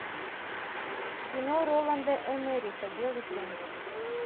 кино роланда эмериха белый плен